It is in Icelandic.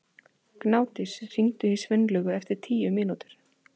Gnádís, hringdu í Sveinlaugu eftir tíu mínútur.